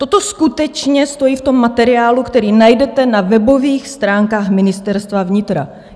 Toto skutečně stojí v tom materiálu, který najdete na webových stránkách Ministerstva vnitra.